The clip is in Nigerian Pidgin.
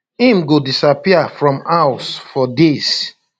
im go disappear from house for days